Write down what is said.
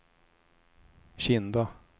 Kinda